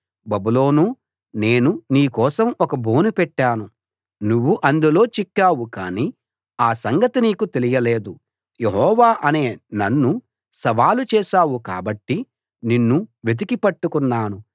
బబులోనూ నేను నీ కోసం ఒక బోను పెట్టాను నువ్వు అందులో చిక్కావు కానీ ఆ సంగతి నీకు తెలియలేదు యెహోవా అనే నన్ను సవాలు చేశావు కాబట్టి నిన్ను వెతికి పట్టుకున్నాను